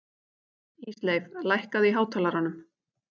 Ísleif, lækkaðu í hátalaranum.